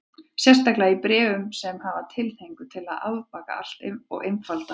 Sérstaklega í bréfum sem hafa tilhneigingu til að afbaka allt og einfalda.